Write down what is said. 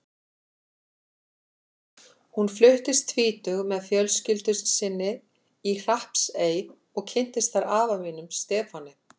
Hún fluttist tvítug með fjölskyldu sinni í Hrappsey og kynntist þar afa mínum, Stefáni.